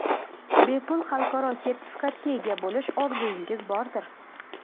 bepul xalqaro sertifikatga ega bo‘lish orzuingiz bordir?.